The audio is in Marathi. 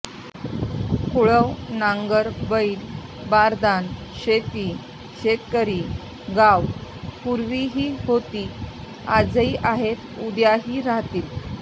कुळव नांगर बैल बारदाना शेती शेतकरी गावं पूर्वीही होती आजही आहेत उद्याही राहतील